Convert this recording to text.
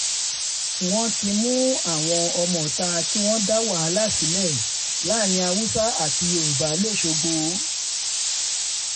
wọ́n ti mú àwọn ọmọọ̀ta tí wọ́n dá wàhálà sílẹ̀ láàrin haúsá àti yorùbá lọ́sgbọ̀